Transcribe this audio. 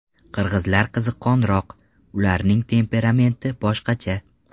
Qirg‘izlar qiziqqonroq, ularning temperamenti boshqacha.